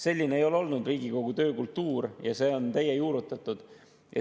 Selline ei ole Riigikogu töökultuur varem olnud, see on teie juurutatud.